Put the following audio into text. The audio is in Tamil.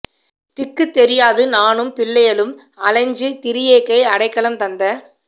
திக்குத் தெரியாது நானும் பிள்ளையளும் அலைஞ்சு திரியேக்கை அடைக்கலம் தந்த